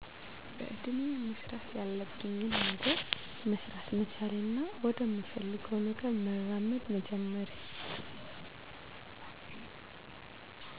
በእድሜየ መስራት ያለብኝን ገነር መሰራት መቻሌና ወደምፈልገውነገር መራመድ መጀመሬ